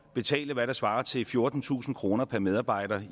betalte hvad der svarer til fjortentusind kroner per medarbejder